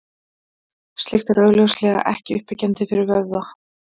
Slíkt er augljóslega ekki uppbyggjandi fyrir vöðva.